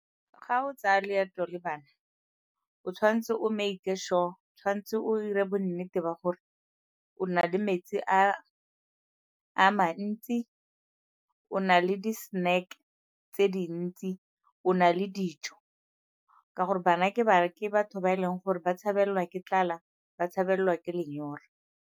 Ga o tsaya leeto le bana o tshwanetse o make sure, o tshwanetse o 'ire bo nnete ba gore o na le metsi a a mantsi, o na le di-snack tse dintsi, o na le dijo ka gore bana ke bana, ke batho ba e leng gore ba tshabelelwa ke tlala, ba tshabelelwa ke lenyora.